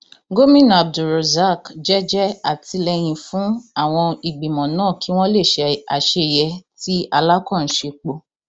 gomina abdulrozak jẹẹjẹ àtìlẹyìn fún àwọn ìgbìmọ náà kí wọn lè ṣe àṣeyẹ tí alákàn ń sèpò